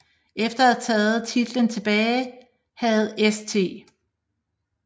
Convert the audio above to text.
Efter at have taget titlen tilbage havde St